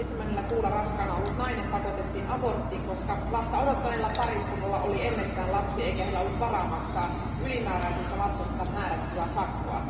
Seitsemännellä kuulla raskaana ollut nainen pakotettiin aborttiin, koska lasta odottaneella pariskunnalla oli ennestään lapsi eikä heillä ollut varaa maksaa ylimääräisestä lapsesta määrättyä sakkoa.